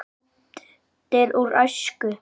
Myndir úr æsku.